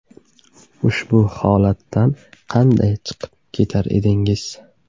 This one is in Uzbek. Ushbu holatdan qanday chiqib ketar edingiz?